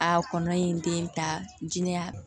A kɔnɔ in den ta jinɛya